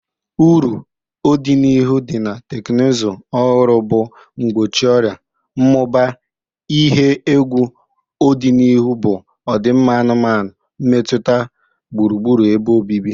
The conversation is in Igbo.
Uru odinihu di na teknụzụ ọhụrụ bu Mgbochi ọrịa. ,Mmụba ihe egwu odinihu bụ ọdịmma anụmanụ, mmetụta gburugburu ebe obibi.